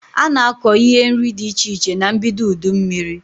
Ana akọ ihe nri dị iche iche na mbido udu mmiri